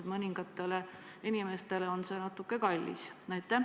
Mõningatele inimestele on see natuke kallis.